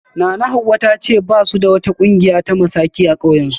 Nanahawa ta ce ba su da wata kungiya ta maski a kauyensu